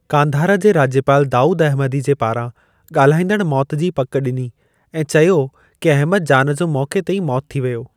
कांधार जे राज्यपाल दाऊद अहमदी जे पारां ॻाल्हाइंदड़ु मौति जी पकि ॾिनी ऐं चयो कि अहमद जान जो मौक़े ते ई मौत थी वियो।